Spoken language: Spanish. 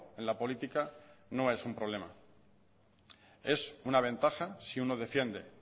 en la política no es un problema es una ventaja si uno defiende